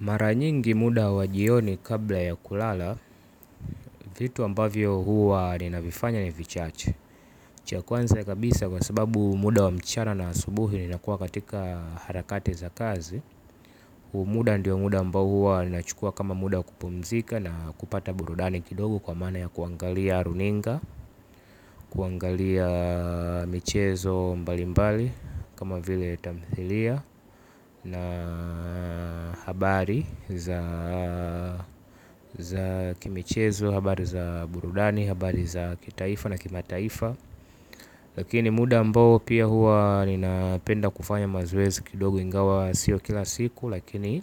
Maranyingi muda wa jioni kabla ya kulala vitu ambavyo huwa ninavifanya ni vichache. Cha kwanza kabisa kwa sababu muda wa mchana na asubuhi nina kuwa katika harakati za kazi. Huu muda ndio muda ambao huwa nina chukua kama muda wa kupumzika na kupata burudani kidogo kwa maana ya kuangalia runinga, kuangalia michezo mbali mbali kama vile tamthilia na habari za kimichezo habari za burudani habari za kitaifa na kima taifa. Lakini muda ambao pia hua ninapenda kufanya mazoezi kidogo. Ingawa sio kila siku lakini